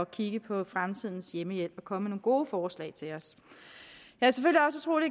kigge på fremtidens hjemmehjælp og komme med nogle gode forslag til os